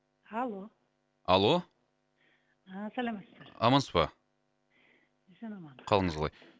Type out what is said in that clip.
алло алло а саламатсыздар амансыз ба қалыңыз қалай